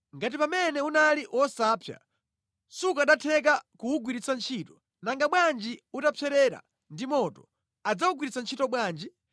Ngati pamene unali wosapsa sukanatheka kuwugwiritsa ntchito, nanga bwanji utapserera ndi moto, adzawugwiritsa ntchito bwanji?